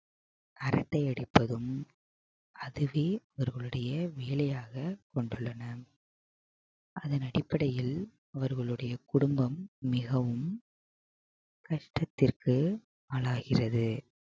அரட்டை அடிப்பதும் அதுவே அவர்களுடைய வேலையாக கொண்டுள்ளனர் அதன் அடிப்படையில் அவர்களுடைய குடும்பம் மிகவும் கஷ்டத்திற்கு ஆளாகிறது